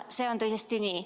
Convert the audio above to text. See on tõesti nii.